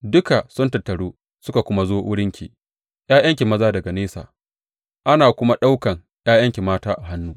Duka sun tattaru suka kuma zo wurinki; ’ya’yanki maza daga nesa, ana kuma ɗaukan ’ya’yanki mata a hannu.